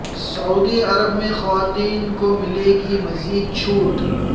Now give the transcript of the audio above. سعودی عرب میں خواتین کو ملے گی مزید چھوٹ